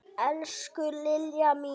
Elsku Lilja mín.